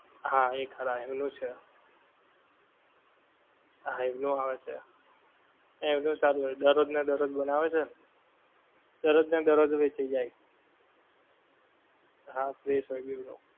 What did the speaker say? હા એ ખરા એમનું છે હા એમનું આવે છે એમનું સારું હોય દરરોજ ને દરરોજ બનાવે છે ને દરરોજ ને દરરોજ વેંહચાય જાય છે હા fresh હોય બેઓ ને